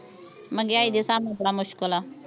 ਮਹਿੰਗਾਈ ਦੇ ਹਿਸਾਬ ਨਾਲ ਬੜਾ ਮੁਸ਼ਕਿਲ ਆ